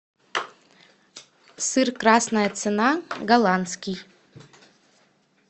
сыр красная цена голландский